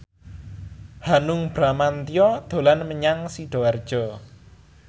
Hanung Bramantyo dolan menyang Sidoarjo